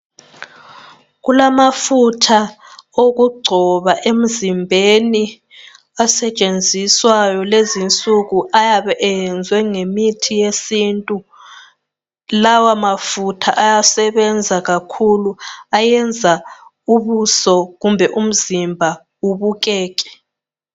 Kulamafutha okugcoba emzimbeni asetshenziswayo lezinsuku ayabe eyenziwe ngemithi yesintu, lawa mafutha ayasebenza kakhulu ayenza ubuso kumbe umzimba ubukeke.